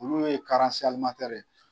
Olu ye ye.